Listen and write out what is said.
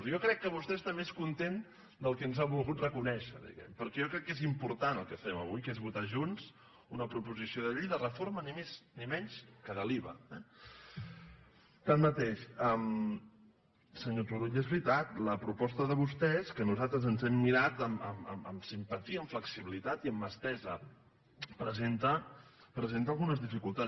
jo crec que vostè està més content del que ens ha volgut reconèixer diguem·ne perquè jo crec que és important el que fem avui que és votar junts una proposició de llei de reforma ni més ni menys que de l’iva eh tanmateix senyor turull és veritat la proposta de vos·tès que nosaltres ens hem mirat amb simpatia amb flexibilitat i amb mà estesa presenta algunes dificultats